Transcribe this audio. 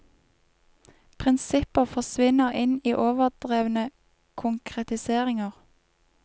Prinsipper forsvinner inn i overdrevne konkretiseringer.